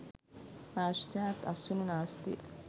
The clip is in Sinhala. පාශ්චාත් අස්වනු නාස්තිය